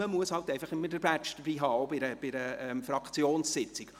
Man muss aber immer den Badge mit dabei auch, auch für Fraktionssitzungen.